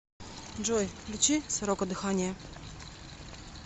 джой включи сорока дыхание